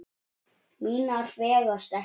Mínar vegast ekki.